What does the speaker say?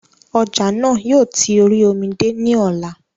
Ọjà náà yóò ti orí omi dé ní ọ̀la